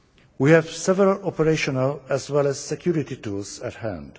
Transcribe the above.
We have several operational as well as security tools at hand.